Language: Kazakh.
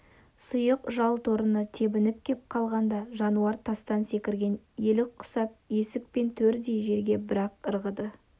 сұйық жал торыны тебініп кеп қалғанда жануар тастан секірген елік құсап есік пен төрдей жерге бір-ақ ырғыды